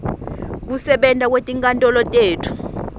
kusebenta kwetinkantolo tetfu